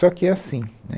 Só que é assim né.